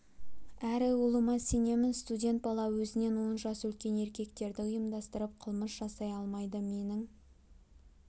әрі ұлыма сенемін студент бала өзінен он жас үлкен еркектерді ұйымдастырып қылмыс жасай алмайды менің